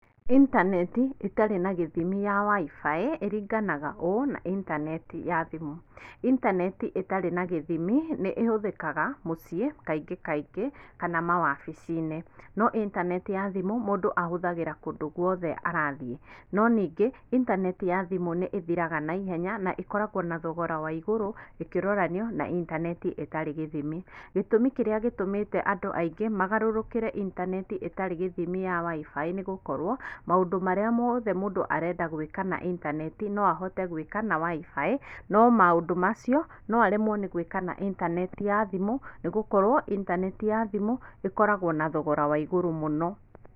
Intaneti ĩtarĩ na gĩthimi ya WIFI, ĩringananga ũũ na intaneti ya thimũ, intaneti ĩtarĩ na gĩthimi nĩ ĩhũthĩkaga mũciĩ kaingĩ kaingĩ, kana mawabici-inĩ, no intaneti ya thimũ, mũndũ ahũthagĩra kũndũ guothe arathiĩ. No ningĩ, intaneti ya thimũ nĩ ĩthiraga na ihenya na ĩkoragwo na thogora wa igũrũ ĩkĩroranio na intaneti ĩtarĩ gĩthimi. Gĩtũmi kĩrĩa gĩtũmĩte andũ aingĩ magarũrũkĩre intaneti ĩtarĩ gĩthimi ya WIFI nĩgũkorwo, maũndũ marĩa mothe mũndũ arenda gwĩka na intaneti no ahote gwĩka na WIFI, no maũndũ macio, no aremwo nĩgwĩka na intaneti ya thimũ, nĩgũkorwo intaneti ya thimũ, ĩkoragwo na thogora wa igũrũ mũno.